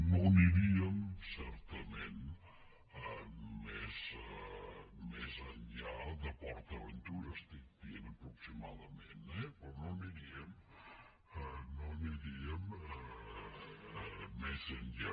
no aniríem certament més enllà de port aventura ho estic dient aproximadament eh però no aniríem més enllà